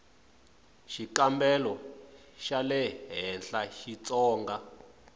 xikambelo xa le henhla xitsonga